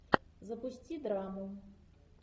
запусти драму